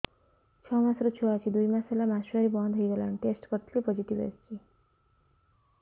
ଛଅ ମାସର ଛୁଆ ଅଛି ଦୁଇ ମାସ ହେଲା ମାସୁଆରି ବନ୍ଦ ହେଇଗଲାଣି ଟେଷ୍ଟ କରିଥିଲି ପୋଜିଟିଭ ଆସିଛି